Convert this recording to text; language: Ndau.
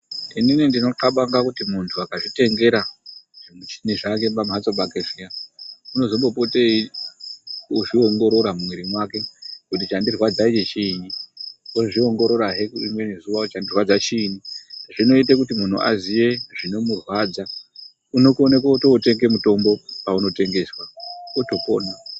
Inini ndinonxabanga kuti muntu akazvitengera zvimichini zvake pamhatso pake zviya, unozombopota eizviongorora mumwiri mwake kuti chandirwadza ichi chiinyi. Ozviongororahe rimweni zuwa kuti chandirwadza chiini. Zvinoite kuti munhu aziye zvinomurwadza. Unokona kutotenge mutombo paunotengeswa otopona.